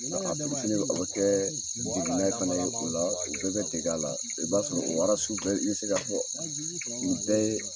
A fitiinin o bɛ Kɛ degenna fana ye o la u bɛɛ bɛ dege a la i b'a sɔrɔ o bɛɛ i bɛ se ka fɔ u bɛɛ ye.